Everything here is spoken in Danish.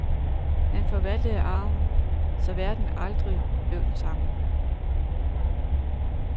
Han forvaltede arven, så verden aldrig blev den samme.